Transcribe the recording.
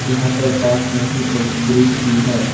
यहां पर पास में ही एक ब्रिज भी है।